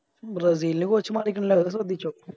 ബ്രസീലിൻറെ Coach മരിക്കിണ്ട് അത് ശ്രെദ്ധിച്ചോ